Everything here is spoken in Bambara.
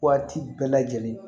Waati bɛɛ lajɛlen